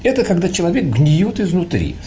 это когда человек гниёт изнутри